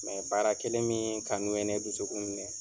baara kelen min kanu ye ne dusukun minɛ.